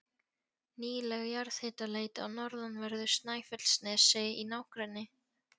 Nýleg jarðhitaleit á norðanverðu Snæfellsnesi í nágrenni